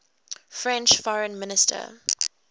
french foreign minister